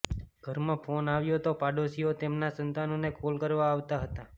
ઘરમાં ફોન આવ્યો તો પાડોશીઓ તેમનાં સંતાનોને કોલ કરવા આવતા હતા